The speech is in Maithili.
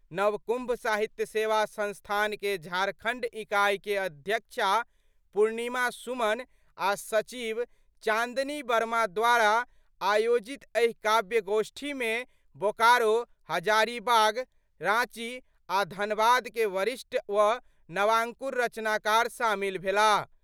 नवकुम्भ साहित्य सेवा संस्थान के झारखंड इकाई के अध्यक्षा पूर्णिमा सुमन आ' सचिव चांदनी वर्मा द्वारा आयोजित एहि काव्यगोष्ठी मे बोकारो, हजारीबाग, रांची आ' धनबाद के वरिष्ठ व नवांकुर रचनाकार शामिल भेलाह।